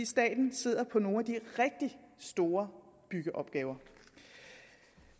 staten sidder på nogle af de rigtig store byggeopgaver